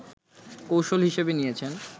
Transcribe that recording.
কৌশল হিসেবে নিয়েছেন